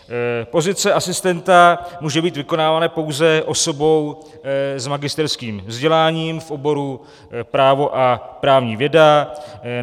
Pozice asistenta může být vykonávána pouze osobou s magisterským vzděláním v oboru právo a právní věda.